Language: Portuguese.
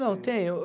Não, tem.